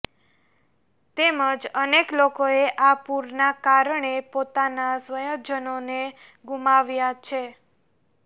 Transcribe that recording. તેમજ અનેક લોકોએ આ પૂરના કારણે પોતાના સ્વજનોને ગુમાવ્યા છે